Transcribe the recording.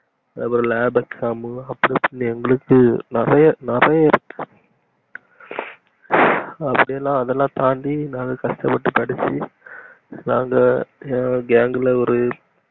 அப்புறம் lab exam மு அப்புறம் எங்களுக்கு நிறைய நிறைய இருக்கு அப்டிலா அதலா தாண்டி நாங்க கஷ்டபட்டு படிச்சி நாங்க gang ல ஒரு